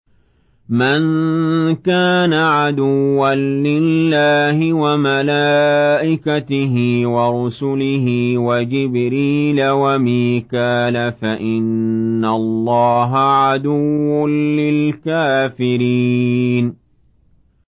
مَن كَانَ عَدُوًّا لِّلَّهِ وَمَلَائِكَتِهِ وَرُسُلِهِ وَجِبْرِيلَ وَمِيكَالَ فَإِنَّ اللَّهَ عَدُوٌّ لِّلْكَافِرِينَ